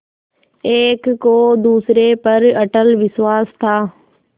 एक को दूसरे पर अटल विश्वास था